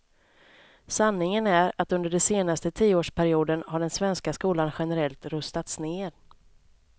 Sanningen är, att under den senaste tioårsperioden har den svenska skolan generellt rustats ned.